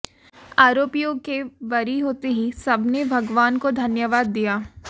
आरोपियों के बरी होते ही सबने भगवान को धन्यवाद दिया